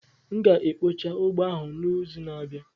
M ga-ekpocha ugbo ahụ n'izu na-abịa.